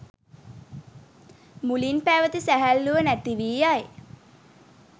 මුලින් පැවැති සැහැල්ලුව නැති වී යයි.